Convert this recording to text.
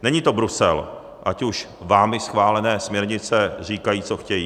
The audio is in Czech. Není to Brusel, ať už vámi schválené směrnice říkají, co chtějí.